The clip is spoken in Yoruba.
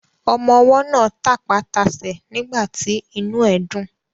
Ọmọwọ́ náà tapá tasẹ̀ nígbàtí inú ẹ̀ dùn.